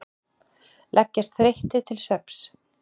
Leggjast þreyttir til svefns.